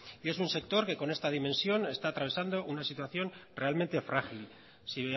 y un sector que con esta dimensión está atravesando una situación realmente frágil si